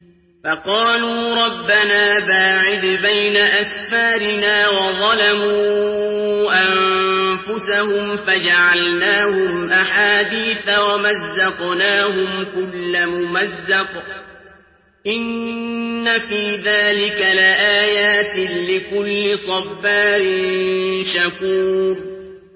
فَقَالُوا رَبَّنَا بَاعِدْ بَيْنَ أَسْفَارِنَا وَظَلَمُوا أَنفُسَهُمْ فَجَعَلْنَاهُمْ أَحَادِيثَ وَمَزَّقْنَاهُمْ كُلَّ مُمَزَّقٍ ۚ إِنَّ فِي ذَٰلِكَ لَآيَاتٍ لِّكُلِّ صَبَّارٍ شَكُورٍ